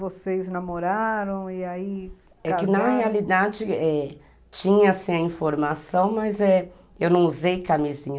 Vocês namoraram e aí... É que na realidade, é, tinha sim a informação, é, mas eu não usei camisinha.